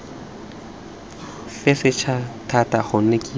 fe setšhaba thata gonne kitso